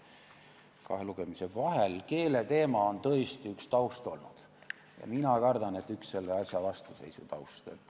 Keeleteema on tõesti üks taustu olnud ja mina kardan, et üks selle asja vastuseisu taustu.